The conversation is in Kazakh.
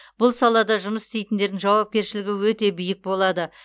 бұл салада жұмыс істейтіндердің жауапкершілігі өте биік болады